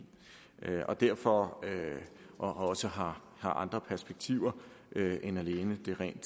og derfor også har andre perspektiver end alene det rent